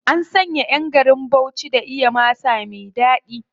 An san ƴan garin Bauchi da iya masa me ɗaɗi.